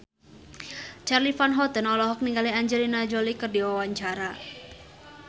Charly Van Houten olohok ningali Angelina Jolie keur diwawancara